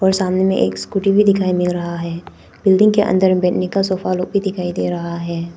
और सामने में एक स्कूटी भी दिखाई मिल रहा है बिल्डिंग के अंदर में बैठने का सोफा लोग भी दिखाई दे रहा है।